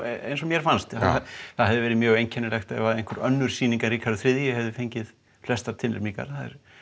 eins og mér fannst það hefði verið mjög einkennilegt ef önnur sýning en Ríkharður þriðji hefði fengið flestar tilnefningar